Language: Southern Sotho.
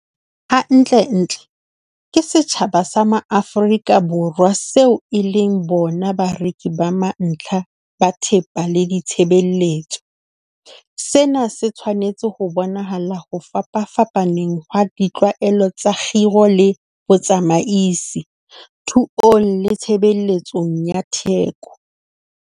Hantlentle, ke setjhaba sa ma-Afrika Borwa seo e leng bona bareki ba mantlha ba thepa le ditshebeletso. Sena se tshwanetse ho bonahala ho fapapfapaneng ha ditlwaelo tsa kgiro le botsamaisi, thuong le tshebetsong ya theko.